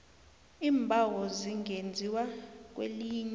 iimbawo zingenziwa kwelinye